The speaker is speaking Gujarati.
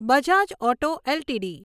Bajaj Auto LTD